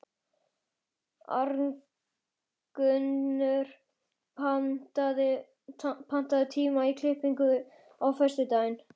Arngunnur, pantaðu tíma í klippingu á föstudaginn.